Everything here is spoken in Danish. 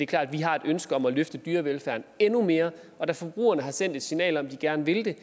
klart at vi har et ønske om at løfte dyrevelfærden endnu mere og da forbrugerne har sendt et signal om at de gerne vil det